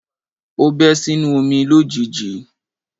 O bẹ́ sínú omi lójijì.